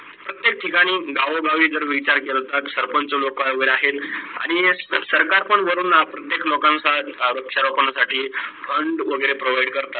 प्रत्येक ठिकाणी गावों गावी विचारले गेलो की हे सरपंज वगैरे जे लोक आहे की आणी हे सरकार पण धरून हा प्रत्येक लोकान्छ वृक्षा रोपांसाठी fund वगैरे provide करतात.